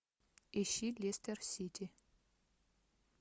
ищи лестер сити